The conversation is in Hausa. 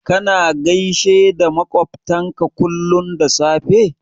Kana gaishe da maƙwabtanka kullum da safe?